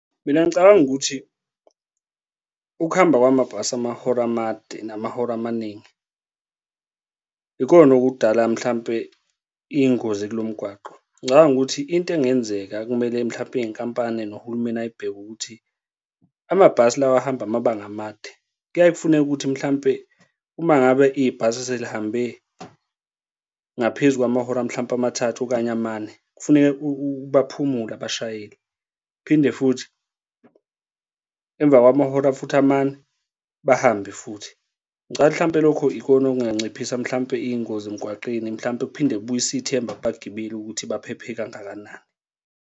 Mina ngicabanga ukuthi ukuhamba kwamabhasi amahora amade namahora amaningi ikona okudala mhlampe iy'ngozi kulo mgwaqo. Ngicabanga ukuthi into engenzeka ekumele mhlampe iy'nkampani nohulumeni ay'bheke ukuthi amabhasi lawa ahamba amabanga amade kuyaye kufuneke ukuthi mhlampe uma ngabe ibhasi selihambe ngaphezu kwamahora mhlambe amathathu okanye amane, kufuneke baphumule abashayeli, phinde futhi, emva kwamahora futhi amane, bahambe futhi. Ngicathi mhlawumpe lokho ikona okunganciphisa mhlampe iy'ngozi emgwaqeni mhlampe kuphinde kubuyise ithemba kubagibeli ukuthi baphephe kangakanani.